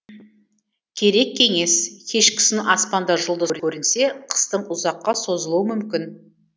керек кеңес кешкісін аспанда жұлдыз көрінсе қыстың ұзаққа созылуы мүмкін